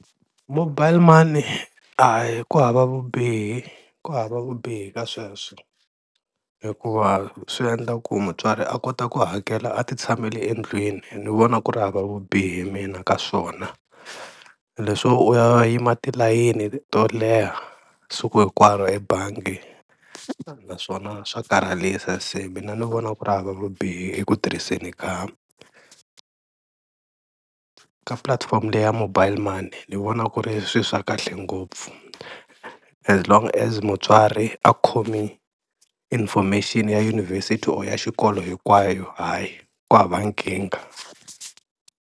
Mobile money hayi ku hava vubihi ku hava vubihi ka sweswo hikuva swi endla ku mutswari a kota ku hakela a ti tshamele endlwini ni vona ku ri hava vubihi mina ka swona, leswo u ya yima tilayini to leha siku hinkwaro ebangi naswona swa karhalisa, se mina ni vona ku ri hava vubihi eku tirhiseni ka ka platform leya mobile money, ni vona ku ri swilo swa kahle ngopfu as long as mutswari a khome information ya yunivhesiti or ya xikolo hinkwayo hayi ku hava nkingha.